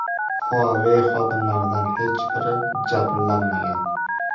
Huawei xodimlaridan hech biri jabrlanmagan.